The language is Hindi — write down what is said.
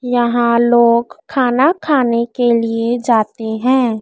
यहां लोग खाना खाने के लिए जाते है।